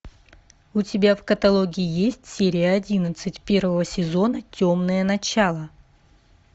у тебя в каталоге есть серия одиннадцать первого сезона темное начало